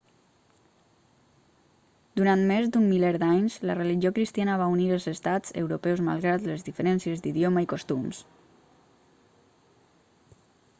durant més d'un miler d'anys la religió cristiana va unir els estats europeus malgrat les diferències d'idioma i costums